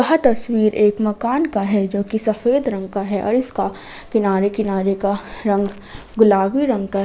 यह तस्वीर एक मकान है जो कि सफेद रंग का है और इसका किनारे किनारे का रंग गुलाबी रंग का है।